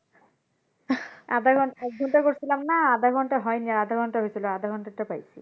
আধা ঘন্টা, এক ঘন্টা করছিলাম না এক ঘন্টা হয়নি আধা ঘন্টা হয়েছিলো আধা ঘন্টার টা পাইছি।